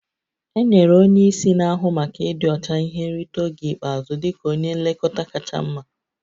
Enyere onye isi na-ahụ maka ịdị ọcha ihe nrite oge ikpeazụ dị ka onye nlekọta kacha mma